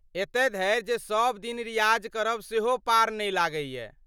एतऽ धरि जे सब दिन रियाज करब सेहो पार नै लगैए।